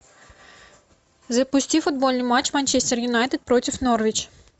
запусти футбольный матч манчестер юнайтед против норвич